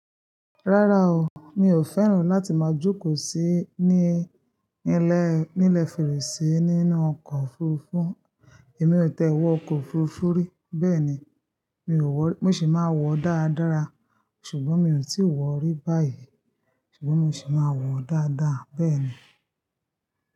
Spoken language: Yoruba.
Rárá o, mi ò fẹ́ràn láti máa jókòó sí ní, nílẹ̀, nílẹ̀ fèrèsé nínú ọkọ̀ òfurufú. Èmi ò tẹ́wọ́ ọkọ̀ òfurufú rí. Bẹ́ẹ̀ ni, mi ò wọ̀, mo sì máa wọ̀ dáadára. Ṣùgbọ́n mi ò tíì wọ̀ rí báyìí. Ṣùgbọ́n mo sì máa wọ̀ dáadáa bẹ́ẹ̀ ni.